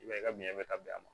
I b'a ye ka ɲɛ bɛ ka bɛn a ma